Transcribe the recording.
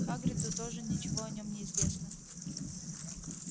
хагриду тоже ничего о нём не известно